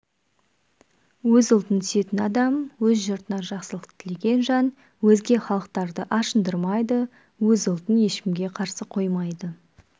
өз халқын сүйетін адам өз жұртына жақсылық тілеген жан өзге халықтарды ашындырмайды өз ұлтын ешкімге қарсы қоймайды